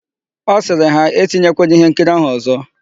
Ọ sịrị ha, "e tinyekwala íhénkiri áhụ̀ ọ̀zọ́"1